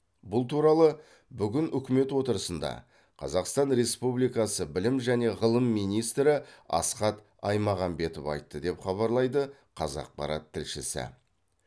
бұл туралы бүгін үкімет отырысында қазақстан республикасы білім және ғылым министрі асхат аймағамбетов айтты деп хабарлайды қазақпарат тілшісі